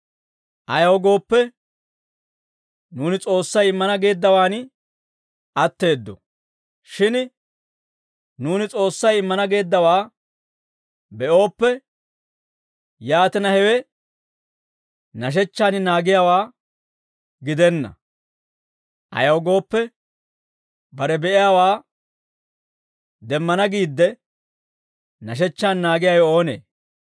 Ayaw gooppe, nuuni S'oossay immana geeddawaan atteeddo. Shin nuuni S'oossay immana geeddawaa be'ooppe, yaatina, hewe nashechchaan naagiyaawaa gidenna; ayaw gooppe, bare be'iyaawaa demmana giidde, nashechchaan naagiyaawe oonee?